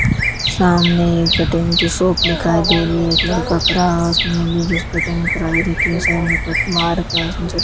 सामने कटिंग की शॉप दिखाई दे रही है एक लड़का खड़ा है उसने अभी जस्ट कटिंग कराई रखी साइड में कट मार रखा उसने ज --